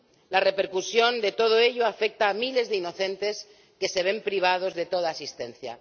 La repercusión de todo ello afecta a miles de inocentes que se ven privados de toda asistencia.